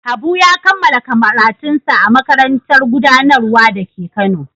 Habu ya kammala karatunsa a Makarantar Gudanarwa da ke Kano.